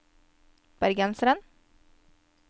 bergenseren